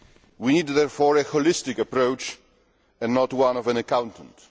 We need therefore a holistic approach and not one of an accountant.